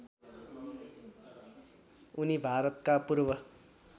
उनी भारतका पूर्व